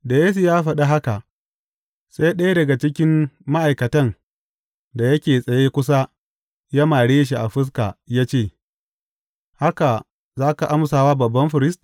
Da Yesu ya faɗa haka, sai ɗaya daga cikin ma’aikatan da yake tsaye kusa ya mare shi a fuska ya ce, Haka za ka amsa wa babban firist?